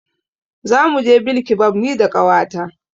Zamu je bilkibab ni da ƙawata.